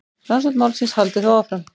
Rannsókn málsins haldi þó áfram.